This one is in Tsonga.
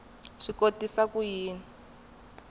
swi kotisa ku yini ku